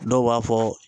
Dɔw b'a fɔ